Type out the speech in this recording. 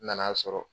N nana sɔrɔ